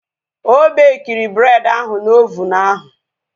Ọ bekiri bred ahu na ovunu ahu